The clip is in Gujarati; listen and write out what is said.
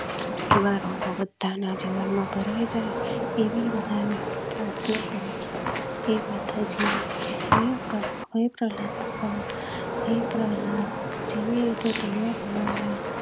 એવા રંગો બધા ના જીવન માં ભરાય જાય એવી બધા ને પ્રાથના કરુછું હે માતાજી હે પ્રહલાદ ભગવાન હે પ્રહલાદ